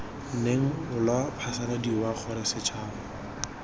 neng lwa phasaladiwa gore setšhaba